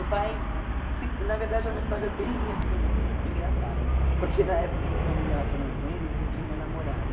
O pai, se na verdade, é uma história bem assim engraçada, porque na época em que eu me relacionei com ele, ele já tinha uma namorada.